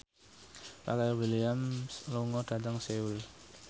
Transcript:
Pharrell Williams lunga dhateng Seoul